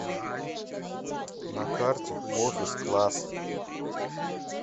на карте офис класс